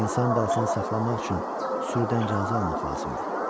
İnsan balasını saxlamaq üçün sürüdən icazə almaq lazımdır.